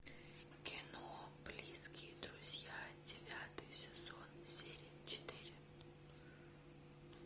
кино близкие друзья девятый сезон серия четыре